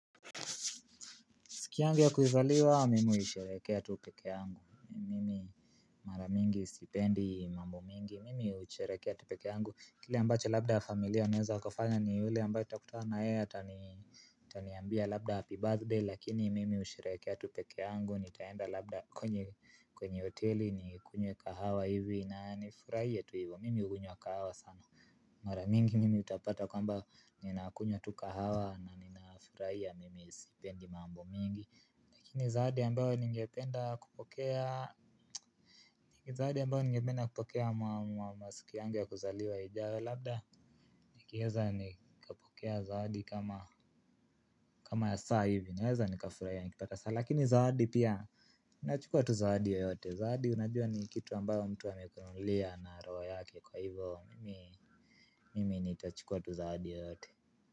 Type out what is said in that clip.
Sik yangu ya kuzaliwa, mimi huisherehekea tu peke yangu. Mara mingi, sipendi mambo mingi. Mimi hushrekea tu pekee yangu. Kile ambacho labda familia unaeza wakafanya ni ule ambayo itakutana na ee atani. Taniambia labda, happy birthday. Lakini mimi ushirakea tupeke angu. Nitaenda labda kwenye kwenye hoteli. Nikunywe kahawa hivi na nifurahie tu hivo. Mimi hugunywa kahawa sana. Mara mingi mimi utapata kwamba nina kunywa tu kahawa. Na ninafurahia, mimi spendi mambo mingi. Lakini zawadi ambayo ningependa kupokea mwa masiku yangu ya kuzaliwa ijaru labda. Nikieza nikapokea zawadi kama kama ya saa hivi, naeza nikafurahia nikipata saa. Lakini zawadi pia, unachukua tu zawadi yeyote. Zawadi unajua ni kitu ambayo mtu amekununulia na roho yake, kwa hivo mimi. Mimi nitachukua tu zawadi yeyote.